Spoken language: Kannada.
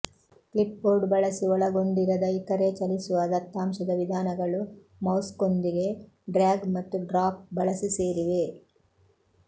ಕ್ಲಿಪ್ಬೋರ್ಡ್ ಬಳಸಿ ಒಳಗೊಂಡಿರದ ಇತರೆ ಚಲಿಸುವ ದತ್ತಾಂಶದ ವಿಧಾನಗಳು ಮೌಸ್ನೊಂದಿಗೆ ಡ್ರ್ಯಾಗ್ ಮತ್ತು ಡ್ರಾಪ್ ಬಳಸಿ ಸೇರಿವೆ